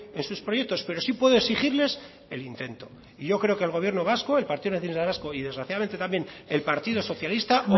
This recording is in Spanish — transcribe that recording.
en sus proyectos pero sí puedo exigirles el intento y yo creo que el gobierno vasco el partido nacionalista vasco y desgraciadamente también el partido socialista